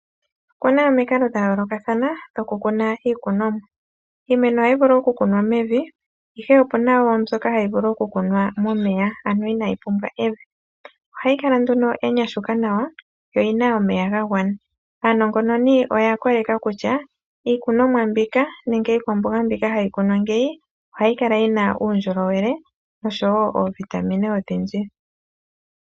Oku na omikalo dha yoolokathana dhokukuna iikunomwa. Iimeno ohayi vulu okukunwa mevi, ihe oku na wo mbyoka hayi vulu okukunwa momeya, ano inayi pumbwa evi. Ohayi kala nduno ya nyashuka nawa yo oyi na omeya ga gwana. Aanongononi oya koleka kutya iikunomwa mbika nenge iikwamboga mbika hayi kunwa ngeyi ohayi kala yi na uundjolowele nosho wo oovitamine odhindji.